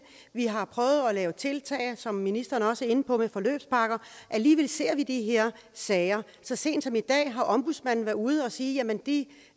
vi har prøvet at lave tiltag som ministeren også er inde på med forløbspakker alligevel ser vi de her sager så sent som i dag har ombudsmanden været ude at sige at blandt de